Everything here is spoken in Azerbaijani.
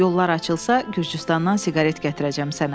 Yollar açılsa, Gürcüstandan siqaret gətirəcəm sənə.